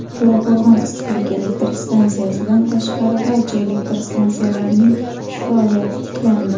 To‘raqo‘rg‘on issiqlik elektr stansiyasidan tashqari barcha elektr stansiyalarning ish faoliyati tiklandi.